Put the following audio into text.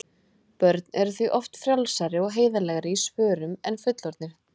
Börn eru því oft frjálsari og heiðarlegri í svörum en fullorðnir.